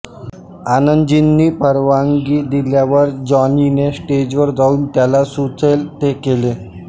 आनंदजींनी परवानगी दिल्यावर जॉनीने स्टेजवर जाऊन त्याला सुचेल ते केले